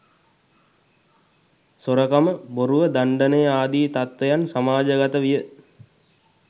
සොරකම, බොරුව, දණ්ඩනය ආදී තත්ත්වයන් සමාජගත විය.